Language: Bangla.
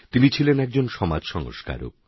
তিনি ছিলেন একজন সমাজসংস্কারক